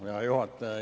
Hea juhataja!